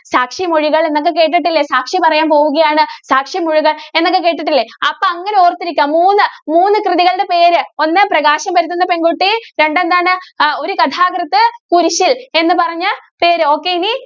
സാക്ഷിമൊഴികള്‍ എന്നൊക്കെ കേട്ടിട്ടില്ലേ? സാക്ഷി പറയാന്‍ പോകുകയാണ്. സാക്ഷി മൊഴികള്‍ എന്നൊക്കെ കേട്ടിട്ടില്ലേ അപ്പോ അങ്ങനെ ഓര്‍ത്തിരിക്കുക. മൂന്ന്, മൂന്ന് കൃതികളുടെ പേര്, ഒന്ന് പ്രകാശം പരത്തുന്ന പെണ്‍കുട്ടി, രണ്ട് എന്താണ് അഹ് ഒരു കഥാകൃത്ത്‌ കുരിശ്ശില്‍, എന്ന് പറഞ്ഞ പേര്. okay ഇനി